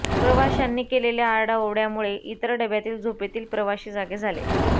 प्रवाशांनी केलेल्या आरडाओरड्यामुळे इतर डब्यातील झोपेतील प्रवाशी जागे झाले